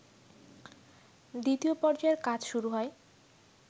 দ্বিতীয় পর্যায়ের কাজ শুরু হয়